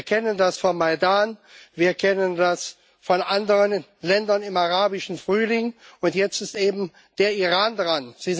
Wir kennen das vom Maidan, wir kennen das von anderen Ländern im Arabischen Frühling, und jetzt ist eben der Iran dran.